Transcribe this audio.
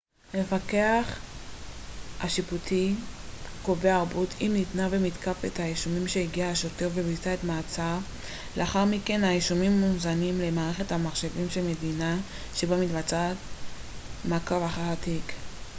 המפקח השיפוטי קובע ערבות אם ניתנה ומתקף את האישומים שהגיש השוטר שביצע את המעצר לאחר מכן האישומים מוזנים למערכת המחשבים של המדינה שבה מתבצע מעקב אחר התיק